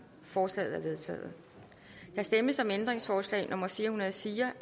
forslaget er vedtaget der stemmes om ændringsforslag nummer fire hundrede og fire